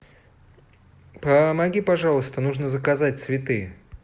помоги пожалуйста нужно заказать цветы